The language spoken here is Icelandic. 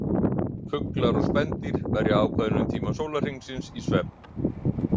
Fuglar og spendýr verja ákveðnum tíma sólarhringsins í svefn.